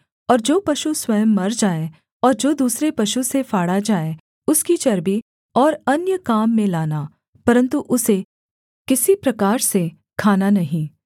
और जो पशु स्वयं मर जाए और जो दूसरे पशु से फाड़ा जाए उसकी चर्बी और अन्य काम में लाना परन्तु उसे किसी प्रकार से खाना नहीं